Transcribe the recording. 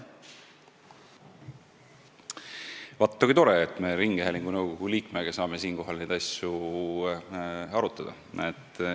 Vaata kui tore, et me saame ringhäälingu nõukogu liikmega neid asju arutada!